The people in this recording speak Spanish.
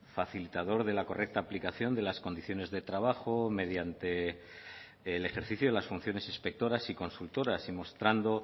facilitador de la correcta aplicación de las condiciones de trabajo mediante el ejercicio de las funciones inspectoras y consultoras y mostrando